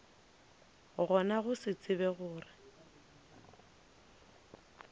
gona go se tsebe gore